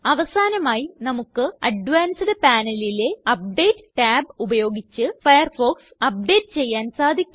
അവസാനമായി നമുക്ക് അഡ്വാൻസ്ഡ് panelലെ അപ്ഡേറ്റ് tab ഉപയോഗിച്ച് ഫയർഫോക്സ് അപ്ഡേറ്റ് ചെയ്യാൻ സാധിക്കും